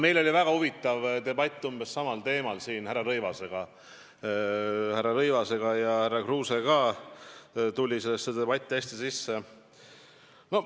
Meil oli siin väga huvitav debatt umbes samal teemal härra Rõivasega ja ka härra Kruuse ühines selle debatiga väga hästi.